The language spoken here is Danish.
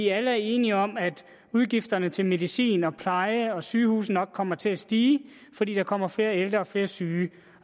er enige om at udgifterne til medicin og pleje og sygehuse nok kommer til at stige fordi der kommer flere ældre og flere syge